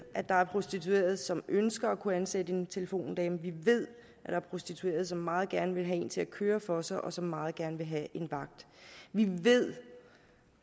at der er prostituerede som ønsker at kunne ansætte en telefondame vi ved at der er prostituerede som meget gerne vil have en til at køre for sig og som meget gerne vil have en vagt vi ved